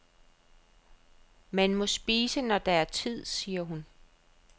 Man må spise, når der er tid, siger hun.